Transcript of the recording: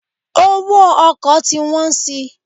Owó ọkọ̀ ti wọ́n si.